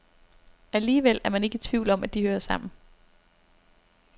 Alligevel er man ikke i tvivl om, at de hører sammen.